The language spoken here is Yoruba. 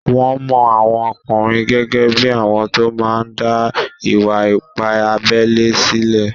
Wọ́n mọ àwọn ọkùnrin gẹ́gẹ́ bí àwọn tó máa n dá ìwà-ipá abélé sílẹ̀